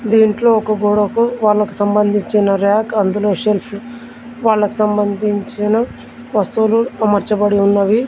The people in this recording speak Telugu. దీంట్లో ఒక గోడకు వాళ్లకు సంబంధించిన రాక్ అందులో షెల్ఫ్ వాళ్లకు సంబంధించిన వస్తువులు అమర్చబడి ఉన్నవి.